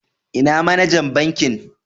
lna manajan bankin?